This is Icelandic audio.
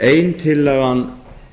ein tillagan